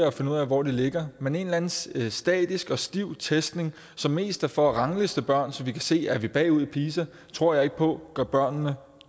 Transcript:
og finde ud af hvor de ligger men en eller anden statisk statisk og stiv testning som mest er for at rangliste børn så vi kan se er bagud i pisa tror jeg ikke på gør børnene